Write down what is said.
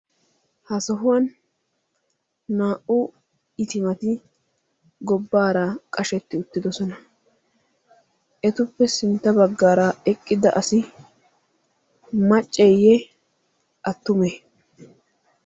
ha sohuwaan naa'u itimati gobbaara qashetti uttidosona etuppe sintta bagaara eqqida asi macceeye attumee?